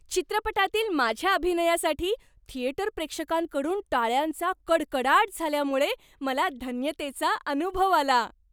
चित्रपटातील माझ्या अभिनयासाठी थिएटर प्रेक्षकांकडून टाळ्यांचा कडकडाट झाल्यामुळे मला धन्यतेचा अनुभव आला.